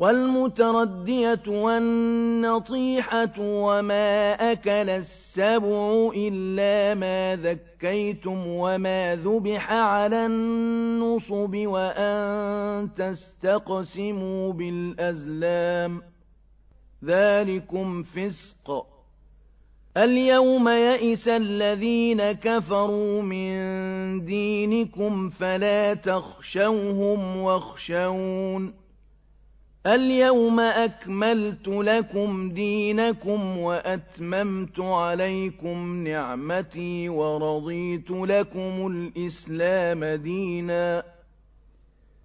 وَالْمُتَرَدِّيَةُ وَالنَّطِيحَةُ وَمَا أَكَلَ السَّبُعُ إِلَّا مَا ذَكَّيْتُمْ وَمَا ذُبِحَ عَلَى النُّصُبِ وَأَن تَسْتَقْسِمُوا بِالْأَزْلَامِ ۚ ذَٰلِكُمْ فِسْقٌ ۗ الْيَوْمَ يَئِسَ الَّذِينَ كَفَرُوا مِن دِينِكُمْ فَلَا تَخْشَوْهُمْ وَاخْشَوْنِ ۚ الْيَوْمَ أَكْمَلْتُ لَكُمْ دِينَكُمْ وَأَتْمَمْتُ عَلَيْكُمْ نِعْمَتِي وَرَضِيتُ لَكُمُ الْإِسْلَامَ دِينًا ۚ